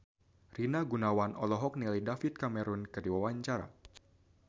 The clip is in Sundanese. Rina Gunawan olohok ningali David Cameron keur diwawancara